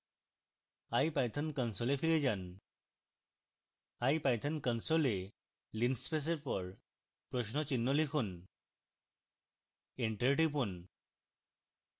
ipython console ফিরে যান ipython console linspace এর পর প্রশ্ন চিহ্ন লিখুন enter টিপুন